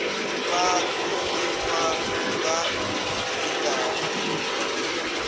vha thonifha nga u lingana